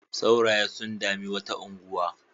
Sauraye sun dami wata unguwa.